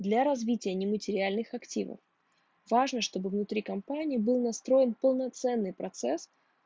для развития нематериальных активов важно чтобы внутри компании был настроен полноценный процесс